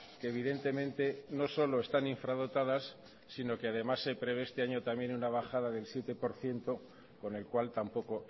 que evidentemente no solo están infradotadas sino que además se prevé este año también una bajada del siete por ciento con el cual tampoco